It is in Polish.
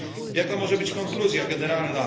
Jaka może być konkluzja generalna?